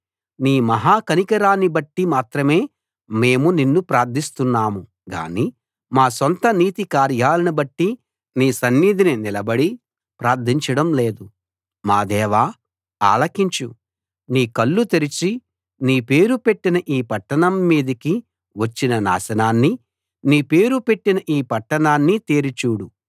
నీ మహా కనికరాన్ని బట్టి మాత్రమే మేము నిన్ను ప్రార్థిస్తున్నాము గాని మా సొంత నీతి కార్యాలను బట్టి నీ సన్నిధిని నిలబడి ప్రార్థించడం లేదు మా దేవా ఆలకించు నీ కళ్ళు తెరచి నీ పేరు పెట్టిన ఈ పట్టణం మీదికి వచ్చిన నాశనాన్ని నీ పేరు పెట్టిన ఈ పట్టణాన్ని తేరి చూడు